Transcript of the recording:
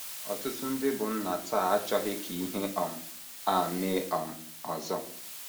Ọtụtụ ndị bụ́ nna taa achọghị ka ihe um a mee um ọzọ.